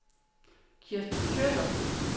Kirsten Kjøller